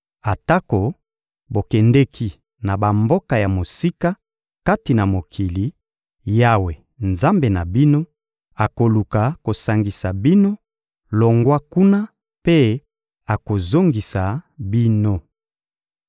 Atako bokendeki na bamboka ya mosika kati na mokili, Yawe, Nzambe na bino, akoluka kosangisa bino longwa kuna mpe akozongisa bino.